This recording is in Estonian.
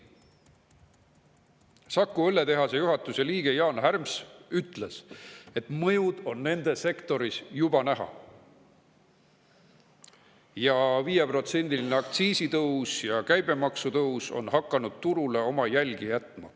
Saku Õlletehase juhatuse liige Jaan Härms ütles, et mõjusid on nende sektoris juba näha ning 5%‑line aktsiisitõus ja käibemaksu tõus on hakanud turule oma jälgi jätma.